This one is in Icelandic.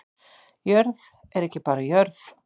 Jörð er ekki bara jörð